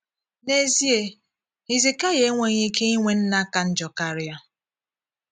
N’ezie, Hizikaịa enweghị ike inwe nna ka njọ karịa.